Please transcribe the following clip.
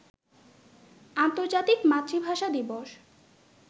আন্তর্জাতিক মাতৃভাষা দিবস